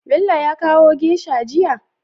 Bello ya kawo geisha jiya?